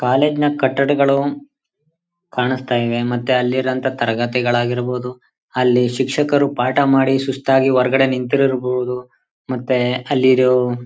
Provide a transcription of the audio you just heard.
college ನ ಕಟಡ್ಗಳು ಕಾಣಿಸ್ತಿವೆ ಮತ್ತೆ ಅಲ್ಲಿ ಇರೋ ಅಂತ ತರಗತಿಗಳು ಆಗಿರ್ಬಹುದು ಅಲ್ಲಿ ಶಿಕ್ಷಕರು ಪಾಠ ಮಾಡಿ ಸುಸ್ತು ಆಗಿ ಹೊರಗಡೆ ನಿಂತಿರಬಹುದು ಮತ್ತೆ ಅಲ್ಲಿ ಇರವರು--